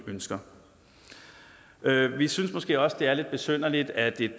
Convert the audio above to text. ønsker vi synes måske også det er lidt besynderligt at et